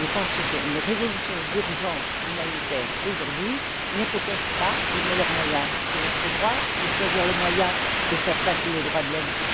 Nous pensons qu'une résolution d'urgence humanitaire aujourd'hui n'est peut être pas le meilleur moyen. C'est notre droit de choisir le moyen de faire passer un message sur les droits de l'homme.